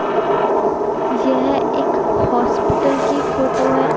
यह एक हॉस्पिटल की फोटो है।